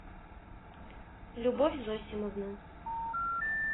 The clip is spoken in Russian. любовь зосимовна